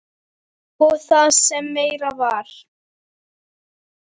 Og það sem meira var.